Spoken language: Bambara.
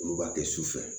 Olu b'a kɛ su fɛ